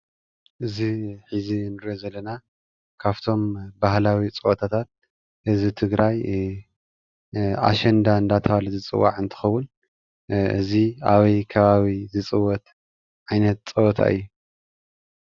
እዚ ሕዚ ንሪኦ ዘለና ካብቶም ባህላዊ ፀወታታት ህዝቢ ትግራይ ኣሸንዳ እንዳተባሃለ ዝፅዋዕ እንትከዉን። እዚ ኣበይ ከባቢ ዝፅወት ዓይነት ፀወታ እዩ?